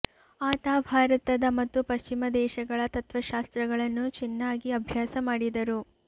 ಆತ ಭಾರತದ ಮತ್ತು ಪಶ್ಚಿಮ ದೇಶಗಳ ತತ್ವಶಾಸ್ತ್ರಗಳನ್ನು ಚಿನ್ನಾಗಿ ಅಭ್ಯಾಸ ಮಾಡಿದರು